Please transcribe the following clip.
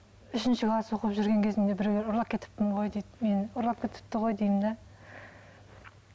үшінші класс оқып жүрген кезімде біреулер ұрлап кетіппін ғой дейді мені ұрлап кетіпті ғой деймін де